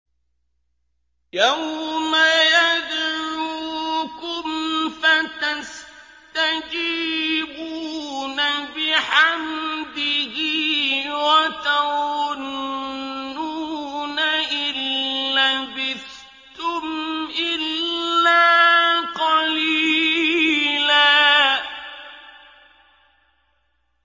يَوْمَ يَدْعُوكُمْ فَتَسْتَجِيبُونَ بِحَمْدِهِ وَتَظُنُّونَ إِن لَّبِثْتُمْ إِلَّا قَلِيلًا